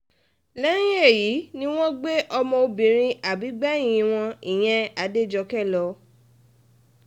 lẹ́yìn èyí ni wọ́n gbé ọmọbìnrin àbígbẹ̀yìn wọn ìyẹn adéjọ́kè lọ